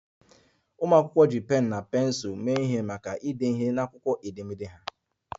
Ụmụ akwụkwọ ji pensụl na pensụl mee ihe maka ide ihe n'akwụkwọ edemede ha